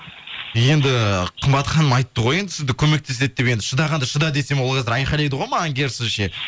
енді қымбат ханым айтты ғой енді сізді көмектеседі деп енді шыдағанда шыда десем ол қазір айқайлайды ғой маған керісінше